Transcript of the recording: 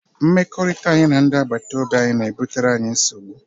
Mmekọrịta anyị na ndị agbataobi anyị na-ebutere anyị nsogbu.